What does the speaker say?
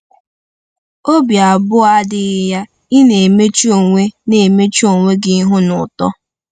Obi abụọ adịghị ya, ị na-emechu onwe na-emechu onwe gị ihu na uto.